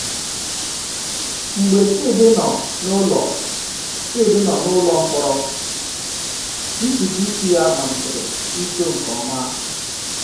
Mgbe Chidi nọ n’ụlọ Chidi nọ n’ụlọ mkpọrọ, ntutu isi ya malitere ito nke ọma.